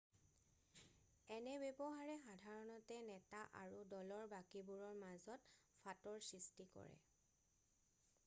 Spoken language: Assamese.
এনে ব্যৱহাৰে সাধাৰণতে নেতা আৰু দলৰ বাকীবোৰৰ মাজত ফাঁটৰ সৃষ্টি কৰে